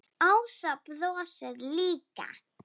Ása brosir líka.